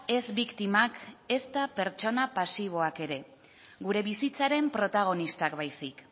ez biktimak ezta pertsona pasiboak ere gure bizitzaren protagonistak baizik